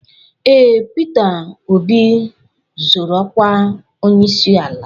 Ee, Pita Obi zoro okwa onyeisi ala.